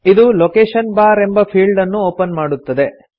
ಇದು location bar ಎಂಬ ಫೀಲ್ಡನ್ನು ಒಪನ್ ಮಾಡುತ್ತದೆ